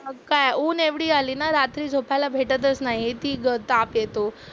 मग काय ऊन एवढी आली ना रात्री झोपायला भेटतच नाही, किती गं ताप येतो.